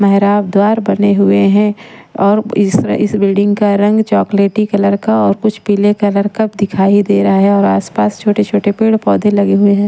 मेहराब द्वार बने हुए हैं और इस इस बिल्डिंग का रंग चॉकलेटी कलर का और कुछ पीले कलर का दिखाई दे रहा है और आसपास छोटे-छोटे पेड़ पौधे लगे हुए हैं।